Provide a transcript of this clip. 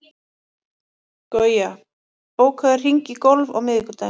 Guja, bókaðu hring í golf á miðvikudaginn.